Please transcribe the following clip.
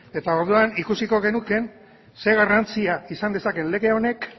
eta orduan ikusiko genuke zer garrantzia izan dezakeen lege honek